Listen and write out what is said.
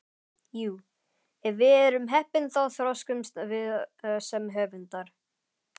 Jú, ef við erum heppin þá þroskumst við sem höfundar.